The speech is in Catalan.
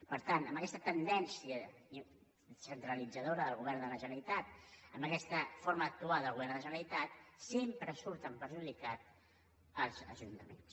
per tant amb aquesta tendència centralitzadora del govern de la generalitat amb aquesta forma d’actuar del govern de la generalitat sempre surten perjudicats els ajuntaments